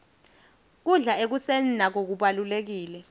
kudla ekuseni nako kubalulekile